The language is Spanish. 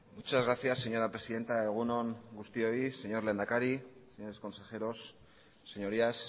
muchas gracias señora presidenta egun on guztioi señor lehendakari señores consejeros señorías